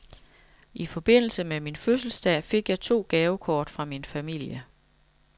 I forbindelse med min fødselsdag fik jeg to gavekort fra min familie.